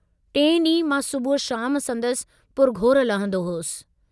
टेई डींहं मां सुबुह शाम संदसि पुरघोर लहंदो हुअसि।